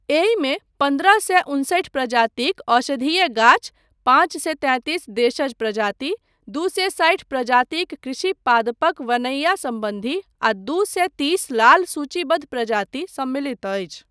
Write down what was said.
एहिमे पन्द्रह सए उनसठि प्रजातिक औषधीय गाछ, पाँच सए तैतिस देशज प्रजाति, दू सए साठि प्रजातिक कृषि पादपक वनैया सम्बन्धी आ दू सए तीस लाल सूचीबद्ध प्रजाति सम्मिलित अछि।